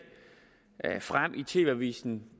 frem i tv avisen